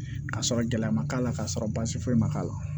Ka sɔrɔ gɛlɛya ma k'a la k'a sɔrɔ baasi foyi ma k'a la